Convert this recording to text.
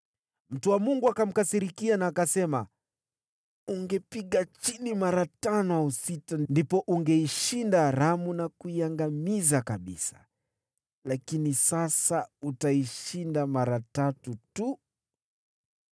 Mtu wa Mungu akamkasirikia na akasema, “Ungepiga chini mara tano au sita, ndipo ungeishinda Aramu na kuiangamiza kabisa. Lakini sasa utaishinda mara tatu tu.”